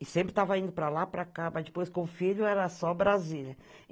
E sempre estava indo para lá, para cá, mas depois com o filho era só Brasília.